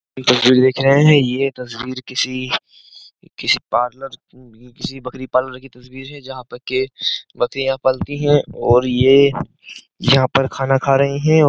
तस्वीर देख रहे हैं यह तस्वीर किसी किसी पार्लर किसी बकरी पार्लर की तस्वीर है जहां पर के बकरियां पलती हैं और ये यहां पर खाना खा रही हैं।